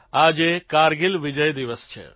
આજે કારગીલ વિજય દિવસ છે